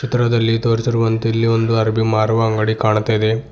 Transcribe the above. ಚಿತ್ರದಲ್ಲಿ ತೋರಿಸಿರುವಂತೆ ಇಲ್ಲಿ ಒಂದು ಅರಬಿ ಮಾರುವ ಅಂಗಡಿ ಕಾಣತಾಇದೆ.